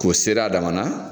K'o seri a damana